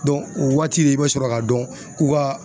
o waati de i be sɔrɔ ka dɔn k'u ka